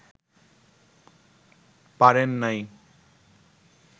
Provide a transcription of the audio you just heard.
পারেন নাই